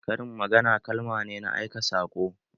Karin magana kalma ne na aika saƙo